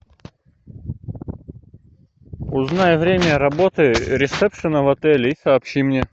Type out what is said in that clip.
узнай время работы ресепшена в отеле и сообщи мне